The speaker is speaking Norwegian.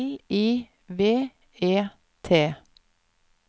L I V E T